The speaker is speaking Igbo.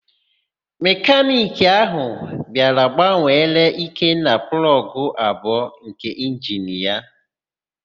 Mekaniki ahụ bịara gbanwere Ikenna plọgụ abụọ nke injini ya.